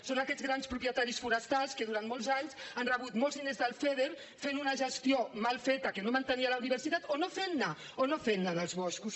són aquests grans propietaris forestals que durant molts anys han rebut molts diners del feader fent una gestió mal feta que no mantenia la diversitat o no fent ne o no fent ne dels boscos